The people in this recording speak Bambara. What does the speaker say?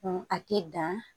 a tɛ dan